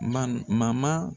Mani